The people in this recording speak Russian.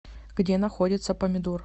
где находится помидор